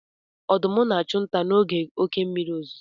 Ọdụm na-achụ nta n'oge oké mmiri ozuzo.